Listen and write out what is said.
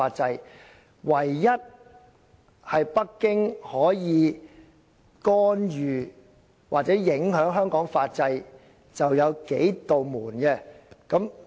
北京唯一可以干預或影響香港法制的，便只有"數扇門"。